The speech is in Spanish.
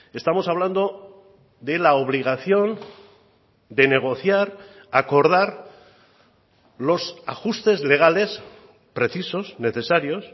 estamos hablando de la obligación de negociar acordar los ajustes legales precisos necesarios